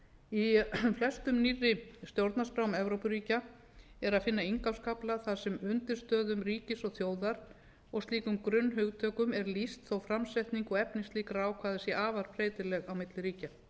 í flestum nýrri stjórnarskrám evrópuríkja er að finna inngangskafla þar sem undirstöðum ríkis og þjóðar og slíkum grunnhugtökum er lýst þótt framsetning og efni slíkra ákvæða sé afar breytilegt á milli ríkja